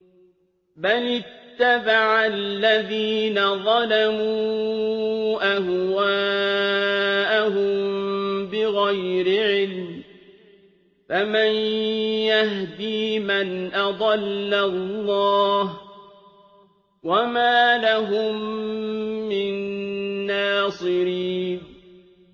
بَلِ اتَّبَعَ الَّذِينَ ظَلَمُوا أَهْوَاءَهُم بِغَيْرِ عِلْمٍ ۖ فَمَن يَهْدِي مَنْ أَضَلَّ اللَّهُ ۖ وَمَا لَهُم مِّن نَّاصِرِينَ